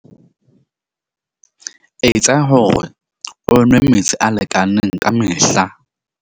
Etsa hore o nwe metsi a lekaneng kamehla.